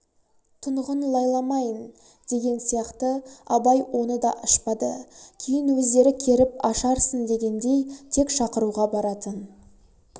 тұнығың лайламайың деген сияқты абай оны да ашпады кейін өздері керіп ашарсын дегендей тек шақыруға баратын